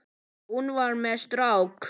Hún var með strák!